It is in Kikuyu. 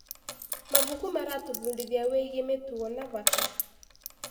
Mabuku maratũbundithia wĩgiĩ mĩtugo na bata.